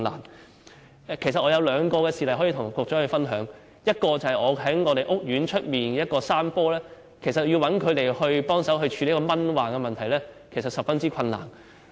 我想向局長分享兩個事例：第一，在我們屋苑外有一幅山坡，要找人協助處理蚊患問題，其實相當困難。